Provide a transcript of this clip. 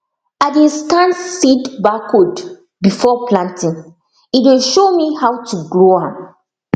i dey scan seed barcode before planting e dey show me how to grow am